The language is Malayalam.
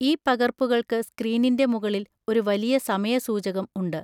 ഈ പകർപ്പുകൾക്ക് സ്ക്രീനിൻ്റെ മുകളിൽ ഒരു വലിയ സമയ സൂചകം ഉണ്ട്.